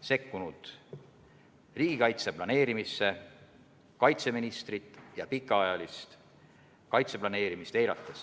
sekkunud riigikaitse planeerimisse, kaitseministrit ja pikaajalist kaitseplaneerimist eirates.